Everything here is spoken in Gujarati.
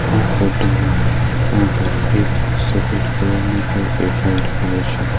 આ ફોટો માં આગળ એક સફેદ કલર નું ઘર દેખાય રહ્યું છે.